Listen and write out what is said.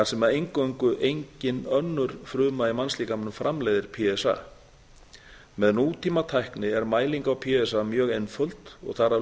sem eingöngu engin önnur fruma í mannslíkamanum framleiðir p s a með nútímatækni er mæling á p s a tiltölulega einföld og þar af